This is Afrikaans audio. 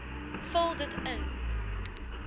vul dit in